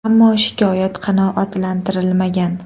Ammo shikoyat qanoatlantirilmagan .